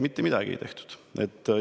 Mitte midagi ei tehtud!